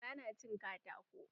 Gara na cin katako.